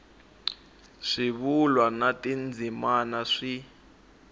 swivulwa na tindzimana swi